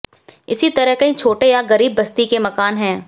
इसी तरह कई छोटे या गरीब बस्ती के मकान हैं